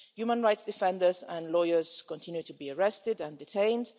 Human rights defenders and lawyers continue to be arrested and detained